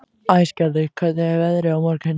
Æsgerður, hvernig er veðrið á morgun?